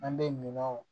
An bɛ minan